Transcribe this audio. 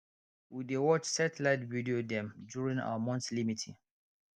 we dey watch satellite video dem during our monthly meeting